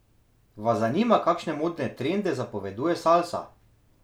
Vas zanima, kakšne modne trende zapoveduje salsa?